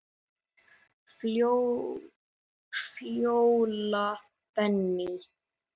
Fjóla Benný.